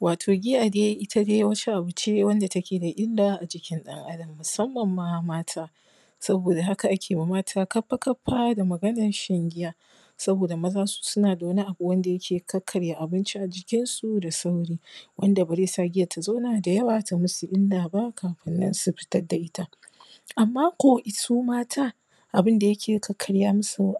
Wato giya dai, ita dai wata aba ce wadda take da illa a jikin ɗan Adam, musamman ma mata. Saboda haka ake wa mata kaffa kaffa da maganan shan giya, saboda maza suna da wani abu wanda yake kakkarya abinci a jikin su da sauri., Wanda ba zai sa giyan ta zauna da yawa ta masu illa ba kafin su fitad da ita. Amma ko su mata abun da yake kakkkarya masu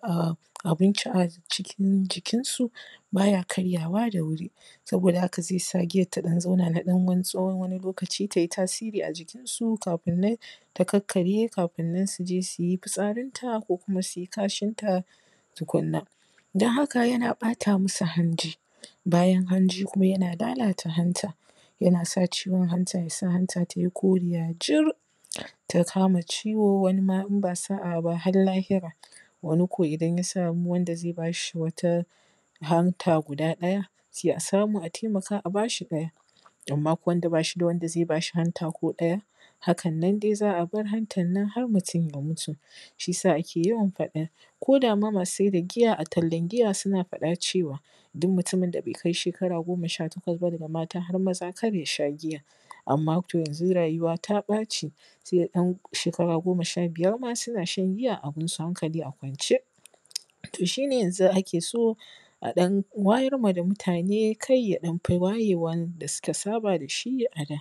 abinci a jikinsu, ba ya karyawa da wuri, saboda haka zai sa giyan ta ɗan zauna na ɗan wani tsawon lokaci, ta yi tasiri a jikinsu kafin nan ta kakkkarye kafin nan su je su yi fitsarinta ko kuma su yi kashinta tukun na. Don haka yana ɓata masu hanji, bayan hanji kuma yana lalata hanta. Yana sa ciwon hanta, hanta ta yi koriya jir, ta kama ciwo ko wani ma in ba a yi sa’a ba har lahira. Wani ko in samu wanda zai ba shi wata hanta guda ɗaya sai a samu a taimaka a ba shi ɗaya, amma ko wanda shi da wanda zai bas hi hanta ko ɗaya, hakan nan dai za a bar hantan nan har mutum ya mutu. Shi ya sa ake faɗan ko da ma masu sayar da giya tallan giya suna yawan cewa, duk mutumin da bai kai shekara goma sha takwas ba daga mata har maza kar ya sha giya. Amma to yanzu rayuwa ta ɓaci, sai ɗan shekara goma sha biyar ma suna sha giya abin su hankali a kwance. To shi ne yanzu ake so a ɗan wayarwa da mutane kai, ya ɗan fi wayewa da suka saba da shi a da.